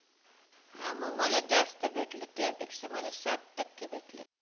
हा मग मला जास्त भेटलेत तुझ्यापेक्षा मला साठ टक्के भेटलेत